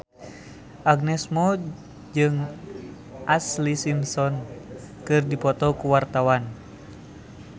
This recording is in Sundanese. Agnes Mo jeung Ashlee Simpson keur dipoto ku wartawan